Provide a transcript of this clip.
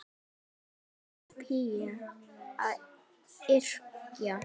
Er þerapía að yrkja?